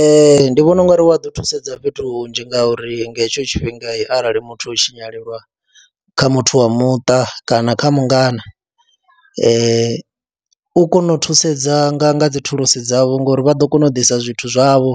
Ee, ndi vhona u nga ri wa ḓo thusedza fhethu hunzhi ngauri nga hetsho tshifhinga arali muthu o tshinyalelwa kha muthu wa muṱa kana kha mungana, u kona u thusedza nga nga dzi thulusi dzavho ngori vha ḓo kona u ḓisa zwithu zwavho